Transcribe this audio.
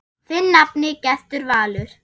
Þinn nafni, Gestur Valur.